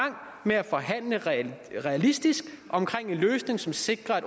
med at forhandle realistisk om en løsning som sikrer at